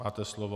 Máte slovo.